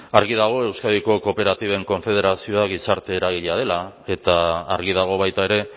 argi dago euskadiko kooperatiben konfederazioak gizarte eragilea dela eta argi dago baita ere